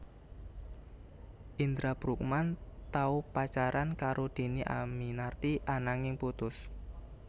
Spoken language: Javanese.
Indra Bruggman tau pacaran karo Dhini Aminarti ananging putus